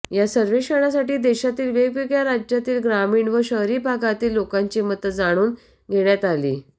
या सर्वेक्षणासाठी देशातील वेगवेगळ्या राज्यांतील ग्रामीण व शहरी भागांतील लोकांची मतं जाणून घेण्यात आली